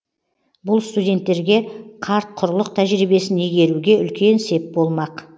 бұл студенттерге қарт құрлық тәжірибесін игеруге үлкен сеп болмақ